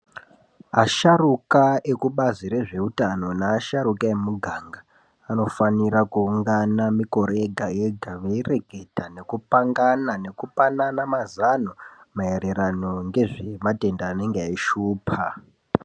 Asharuka ekubazi rezveutano neasharuka emumiganga anofanira kuungana mikore yega-yega veireketa nekupangana nekupanana mazano maererano ngematenda anenga eishupa.